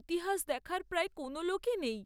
ইতিহাস দেখার প্রায় কোনো লোকই নেই।